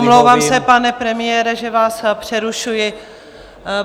Omlouvám se, pane premiére, že vás přerušuji.